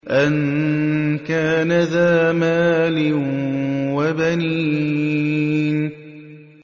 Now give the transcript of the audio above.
أَن كَانَ ذَا مَالٍ وَبَنِينَ